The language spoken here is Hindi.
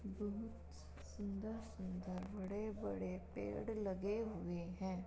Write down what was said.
बहुत स्-सुन्दर-सुन्दर बड़े-बड़े पेड़ लगे हुए हैं।